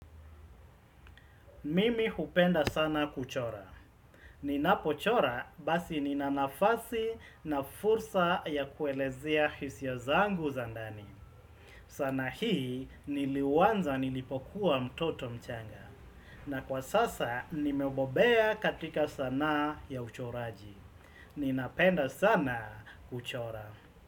Mimi hupenda sana kuchora. Ninapo chora basi ninanafasi na fursa ya kuelezea hisia zangu zandani. Zana hii niliuanza nilipokuwa mtoto mchanga. Na kwa sasa nimebobea katika sanaa ya uchoraji. Ninapenda sana kuchora.